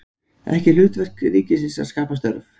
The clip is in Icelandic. Ekki hlutverk ríkisins að skapa störf